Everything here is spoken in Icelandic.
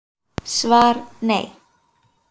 SVAR Nei.